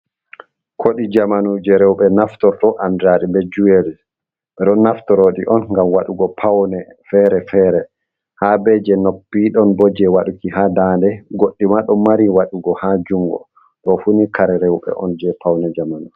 Kuɗi jamanu je rewɓe naftorto andari be juweri, ɓeɗo natoroɗi on gam waɗugo paune fere-fere, ha be je noppi ɗon bo je waɗuki ha ndaande goɗɗi ma ɗo mari waɗugo ha jungo ɗo funi kare rewɓe on je pawne jamanu.